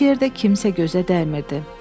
Heç yerdə kimsə gözə dəymirdi.